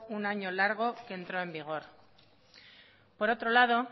un año largo que entró en vigor por otro lado